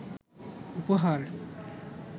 উপহার